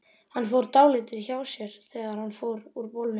Hann fór dálítið hjá sér þegar hún fór úr bolnum.